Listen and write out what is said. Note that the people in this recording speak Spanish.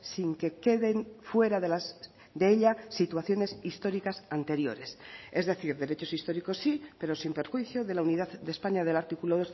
sin que queden fuera de ella situaciones históricas anteriores es decir derechos históricos sí pero sin perjuicio de la unidad de españa del artículo